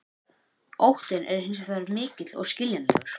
Óttinn er hins vegar mikill og skiljanlegur.